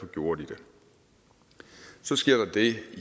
gjorde de det så sker der det